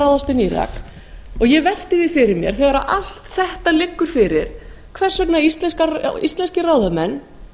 ráðast inn í írak ég velti því fyrir mér þegar allt þetta liggur fyrir hvers vegna íslenskir ráðamenn